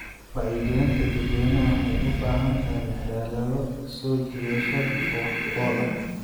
Wacyigelinta dadweynaha waxay u baahan tahay xeelado soo jiidasho leh oo wax ku ool ah.